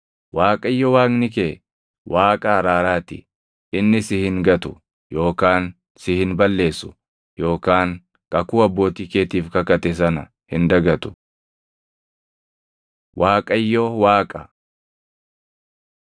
Waaqayyo Waaqni kee Waaqa araaraa ti; inni si hin gatu yookaan si hin balleessu yookaan kakuu abbootii keetiif kakate sana hin dagatu. Waaqayyo Waaqa